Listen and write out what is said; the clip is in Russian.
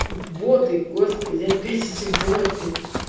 боты господи опять эти боты